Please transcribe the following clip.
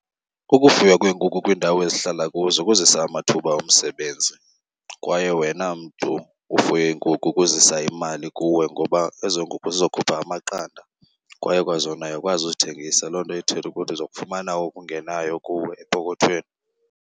Ukufuywa kweenkukhu kwiindawo esihlala kuzo kuzisa amathuba omsebenzi kwaye wena mntu ufuye iinkukhu kuzisa imali kuwe, ngoba ezo nkukhu zizokhupha amaqanda kwaye kwazona uyakwazi uzithengisa. Loo nto ithetha ukuthi uzokufumana okungenayo kuwe epokothweni.